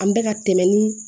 An bɛ ka tɛmɛ ni